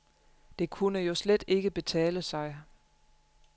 Det kunne jo slet ikke betale sig.